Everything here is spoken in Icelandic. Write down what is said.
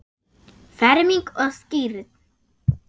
Ferming og skírn.